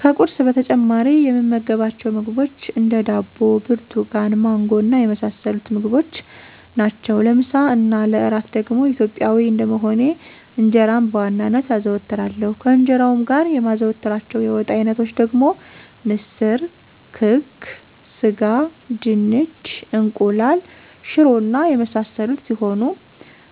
ከቁርስ በተጨማሪ የምመገባቸው ምግቦች እንደ፦ ዳቦ፣ ብርቱካን፣ ማንጎ እና የመሳሰሉትን ምግቦች ናቸው። ለምሳ እና ለእራት ደግሞ ኢትዮጵያዊ እንደመሆኔ እንጀራን በዋናነት አዘወትራለሁ፤ ከእንጀራውም ጋር የማዘወትራቸው የወጥ አይነቶች ደግሞ ምስር፣ ክክ፣ ስጋ፣ ድንች፣ እንቁላል፣ ሽሮ እና የመሳሰሉት ሲሆኑ